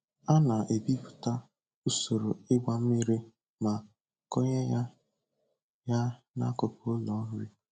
A na-ebipụta usoro ịgba mmiri ma konyeya ya n'akụkụ ụlọ nri.